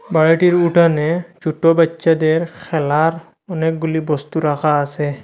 বাড়িটির উঠানে ছোট বাচ্চাদের খেলার অনেকগুলি বস্তু রাখা আসে।